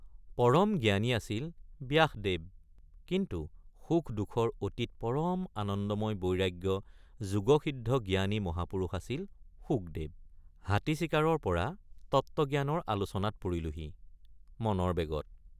পৰম জ্ঞানী আছিল ব্যাসদেৱ কিন্তু সুখ দুখৰ অতীত পৰম আনন্দময় বৈৰাগ্য যোগসিদ্ধ জ্ঞানী মহাপুৰুষ আছিল শুকদেৱ ৷ হাতী চিকাৰৰপৰা তত্ত্বজ্ঞানৰ আলোচনাত পৰিলোহি মনৰ বেগত ।